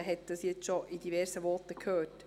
Man hat jetzt schon in diversen Voten davon gehört.